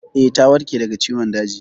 Eh, ta warke daga ciwon daji.